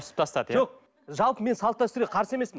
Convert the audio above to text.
иә жоқ жалпы мен салт дәстүрге қарсы емеспін